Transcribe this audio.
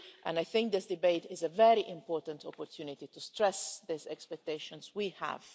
I think this debate is a very important opportunity to stress the expectations we have.